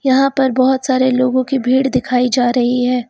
यहां पर बहोत सारे लोगों की भीड़ दिखाई जा रही है।